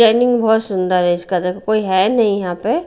Timing बहुत सुंदर है इसका देखो कोई है नहीं यहाँ पे।